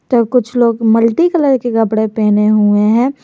तो कुछ लोग मल्टी कलर के कपड़े पहने हुए हैं।